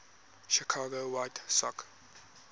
chicago white sox